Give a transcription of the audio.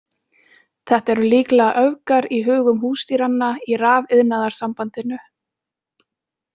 Þetta eru líklega öfgar í hugum húsdýranna í Rafiðnaðarsambandinu.